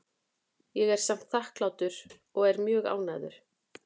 Ég er samt þakklátur og er mjög ánægður.